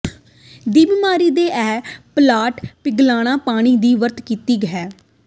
ਦੀ ਬਿਮਾਰੀ ਦੇ ਇਹ ਪਲਾਟ ਪਿਘਲਨਾ ਪਾਣੀ ਦੀ ਵਰਤ ਕੀਤੀ ਹੈ